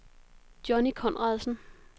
Johnny Conradsen